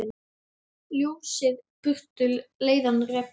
Ljósið burtu leiðann rekur.